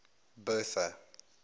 bertha